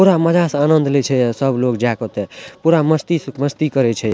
पूरा मजा से आनंद ले छै ये सब लोग जाय के ओता पूरा मस्ती से मस्ती करे छै।